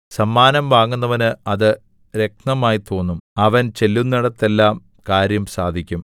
സമ്മാനം വാങ്ങുന്നവന് അത് രത്നമായി തോന്നും അവൻ ചെല്ലുന്നേടത്തെല്ലാം കാര്യം സാധിക്കും